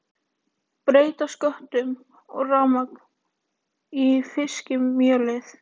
Breyta sköttum og rafmagn í fiskimjölið